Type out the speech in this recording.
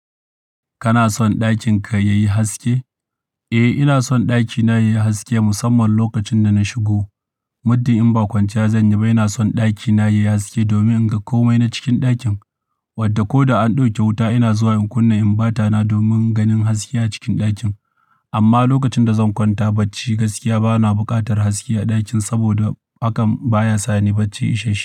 Kana son ɗakin ka yayi haske? Eh, ina son ɗakina yayi haske musamman lokacin da na shigo. Muddin in ba kwanciya zan yi ba ina son ɗakina yayi haske domin in ga komai na cikin ɗakin. Wadda ko da an ɗauke wuta ina zuwa in kunna inbata na domin ganin haske a cikin ɗakin. Amma lokacin da zan kwanta bacci gaskiya bana buƙatar haske a ɗakin saboda hakan baya sa ni bacci isasshe.